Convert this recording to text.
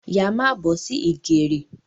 Yá má bọ̀ sí ìgèrè